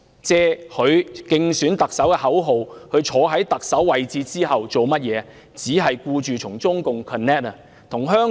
自她推出競選特首的口號並坐上特首之位後，她有何功績呢？